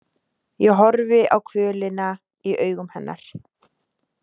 Ég horfi á kvölina í augum hennar.